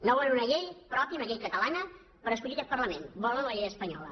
no volen una llei pròpia una llei catalana per escollir aquest parlament volen la llei espanyola